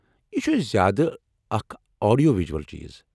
یہ چُھ زیادٕ اکھ آڈیو ویجول چیز۔